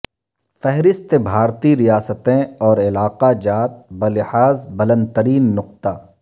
فہرست بھارتی ریاستیں اور علاقہ جات بلحاظ بلند ترین نقطہ